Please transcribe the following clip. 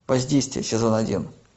воздействие сезон один